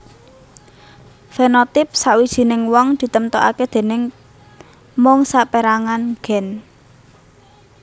Fenotipe sawijining wong ditemtokake déning mung saperangan gen